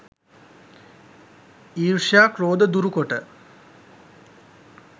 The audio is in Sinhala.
ඊර්ෂ්‍යයා ක්‍රෝධ දුරුකොට